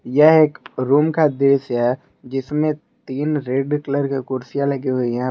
यह एक रूम का दृश्य है जिसमें तीन रेड कलर की कुर्सियां लगी हुई है।